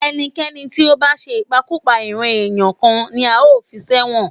ẹnikẹ́ni tí ó bá ṣe ìpakúpa- ìran-ẹ̀yà kan ni a ó fi sẹ́wọ̀n